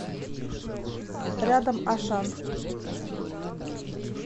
рядом ашан